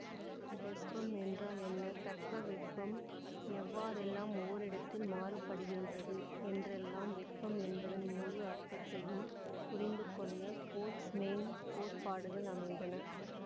வெப்பம் என்றால் என்ன தட்பவெப்பம் எவ்வாறெல்லாம் ஓரிடத்தில் மாறுபடுகின்றது என்றெல்லாம் வெப்பம் என்பதன் முழு அர்த்தத்தையும் புரிந்து கொள்ள போல்ட்ஸ்மேன் கோட்பாடுகள் அமைந்தன